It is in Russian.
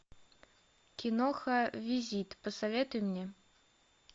киноха визит посоветуй мне